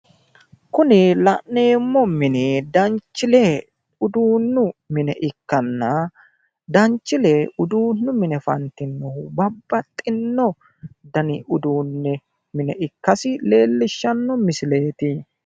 kuni la'neemo mini danchile uduunnu mine ikkanna danchile uduunnu mine fantinohu babaxino dani uduunne mine ikkasi leelishanno misileeti